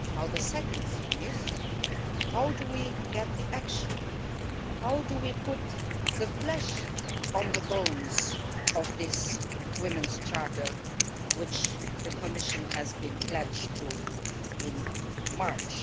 The second thing is how do we get the action? How do we put the flesh on the bones of this Women's Charter which the Commission pledged itself to in March?